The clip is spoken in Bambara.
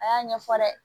A y'a ɲɛfɔ dɛ